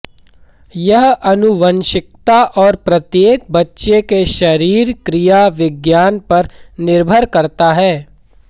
यह आनुवंशिकता और प्रत्येक बच्चे के शरीर क्रिया विज्ञान पर निर्भर करता है